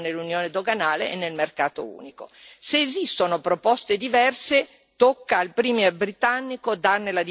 Se esistono proposte diverse tocca al Premier britannico darne la dimostrazione, facendo proposte concrete.